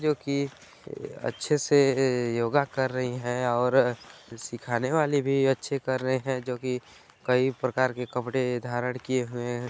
क्योंकि अच्छे से योगा कर रही हैं और सिखाने वाले भी अच्छे कर रहे हैं जो कि कई प्रकार के कपड़े धारण किए हुए हैं।